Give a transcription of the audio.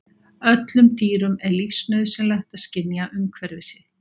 Öllum dýrum er lífsnauðsynlegt að skynja umhverfi sitt.